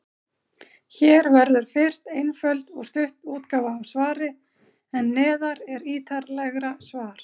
Hér verður fyrst einföld og stutt útgáfa af svari, en neðar er ítarlegra svar.